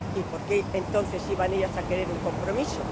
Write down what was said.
Y, ¿por qué, entonces, iban ellas a querer un compromiso?